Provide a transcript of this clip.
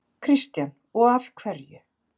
Kristján: Og af hverju?